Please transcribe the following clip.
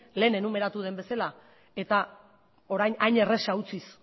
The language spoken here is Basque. hemen enumeratu dudan bezala eta orain hain erraza utziz